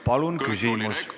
Palun küsimus!